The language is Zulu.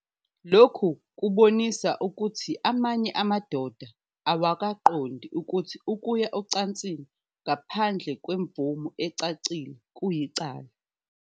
Lokhu kubonisa ukuthi amanye amadoda awakuqondi ukuthi ukuya ocansini ngaphandle kwemvume ecacile kuyicala.